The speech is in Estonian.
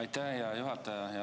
Aitäh, hea juhataja!